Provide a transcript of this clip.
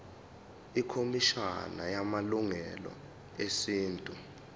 ikhomishana yamalungelo esintu